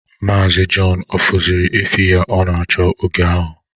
Maazi Jọn ọ fụzịrị efi ya ọ na-achọ oge ahụ?